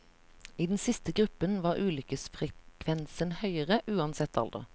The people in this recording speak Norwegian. I den siste gruppen var ulykkesfrekvensen høyere, uansett alder.